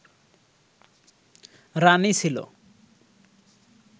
রাণী ছিল